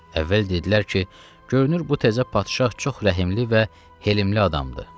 Əvvəl dedilər ki, görünür bu təzə padşah çox rəhimli və helimli adamdır.